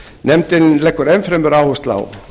nefndin leggur enn fremur áherslu á